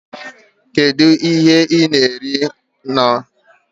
Kedu ihe ị na-eri maka nri ụtụtụ n'ụtụtụ a? Ngozi jụrụ onye ya na ya na-anọdụ ala